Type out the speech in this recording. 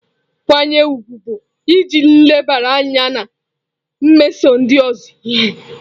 Nkwanye ùgwù bụ iji nlebara anya na-emeso ndị ọzọ ihe.